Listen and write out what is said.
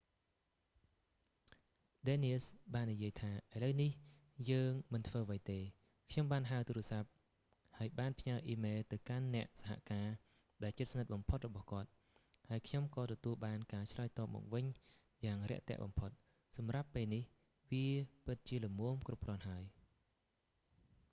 ឌែននៀស danius បាននិយាយថា ឥឡូវនេះយើងមិនធ្វើអ្វីទេ ខ្ញុំបានហៅទូរសព្ទ ហើយបានផ្ញើអ៊ីមែលទៅកាន់អ្នកសហការដែលជិតស្និទ្ធបំផុតរបស់គាត់ ហើយខ្ញុំក៏ទទួលបានការឆ្លើយតបមកវិញយ៉ាងរាក់ទាក់បំផុត សម្រាប់ពេលនេះ វាពិតជាល្មមគ្រប់គ្រាន់ហើយ